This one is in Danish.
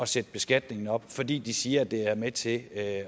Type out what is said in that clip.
sætte skatten op fordi de siger at det er med til at